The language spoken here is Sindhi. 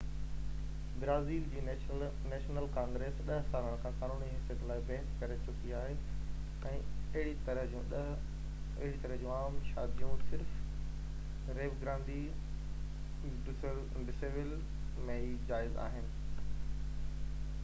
برازيل جي نيشنل ڪانگريس 10 سالن کان قانوني حيثيت لاءِ بحث ڪري چڪي آهي ۽ اهڙي طرح جون عام شاديون صرف ريو گرانڊي ڊو سول ۾ ئي جائز آهن